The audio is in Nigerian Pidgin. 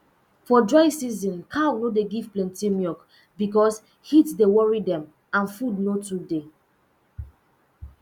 for dry season cow no dey give plenty milk because heat dey worry dem and food no too dey